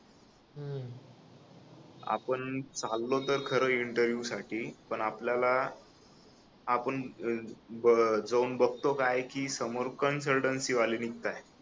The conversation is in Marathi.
आपण चाललो तर खर इंटरव्हिव्ह साठी पण आपल्याला आपण जाऊन बघतो काय की समोर कन्सल्टन्सी वाले निघताय